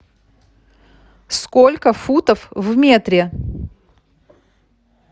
сколько футов в метре